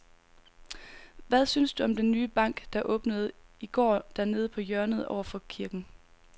Hvad synes du om den nye bank, der åbnede i går dernede på hjørnet over for kirken?